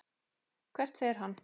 Hvert fer hann?